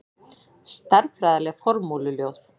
Stærðfræðileg formúluljóð.